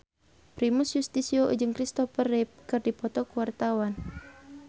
Primus Yustisio jeung Christopher Reeve keur dipoto ku wartawan